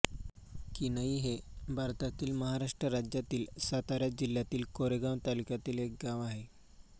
किन्हई हे भारतातील महाराष्ट्र राज्यातील सातारा जिल्ह्यातील कोरेगाव तालुक्यातील एक गाव आहे